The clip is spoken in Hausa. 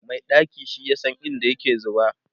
Mai ɗaki shi yasa in da yake zuba